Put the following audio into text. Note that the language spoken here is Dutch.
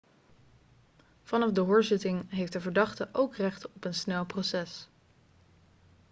vanaf de hoorzitting heeft de verdachte ook recht op een snel proces